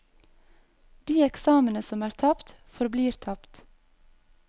De eksamene som er tapt, forblir tapt.